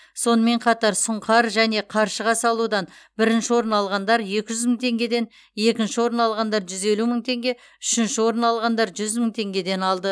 сонымен қатар сұңқар және қаршыға салудан бірінші орын алғандар екі жүз мың теңгеден екінші орын алғандар жүз елу мың теңге үшінші орын алғандар жүз мың теңгеден алды